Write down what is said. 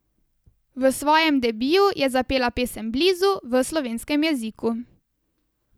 V svojem debiju je zapela pesem Blizu v slovenskem jeziku.